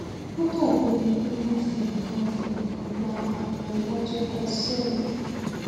ó dàbí ẹni pé wọn fi nǹkan fi nǹkan gbá apá iwájú kò ṣẹlẹ